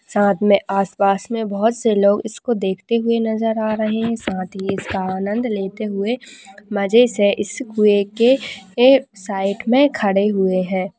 साथ में आसपास में बहुत से लोग इसको देखते हुए नज़र आ रहे है साथ ही इसका आनंद लेते हुए मजे से इस कुंए के साइड में खड़े हुए है।